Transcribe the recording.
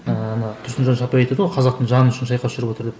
ыыы ана тұрсынжан шапай айтады ғой қазақтың жаны үшін шайқас жүріп жатыр деп